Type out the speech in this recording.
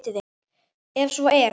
Ef svo er, hvern?